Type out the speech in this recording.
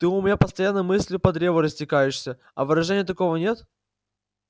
ты у меня постоянно мыслью по древу растекаешься а выражения такого нет